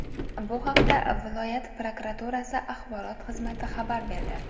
Bu haqda viloyati prokuraturasi axborot xizmati xabar berdi .